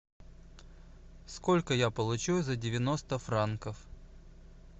сколько я получу за девяносто франков